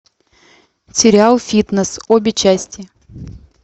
сериал фитнес обе части